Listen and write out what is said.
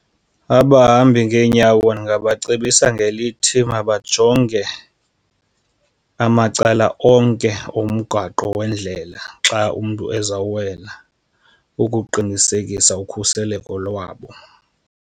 Abahambi ngeenyawo ndingabacebisa ngelithi mabajonge amacala onke omgaqo wendlela xa umntu ezawuwela ukuqinisekisa ukhuseleko lwabo.